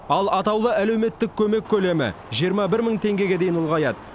ал атаулы әлеуметтік көмек көлемі жиырма бір мың теңгеге дейін ұлғаяды